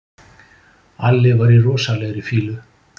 Alli var í rosalegri fýlu.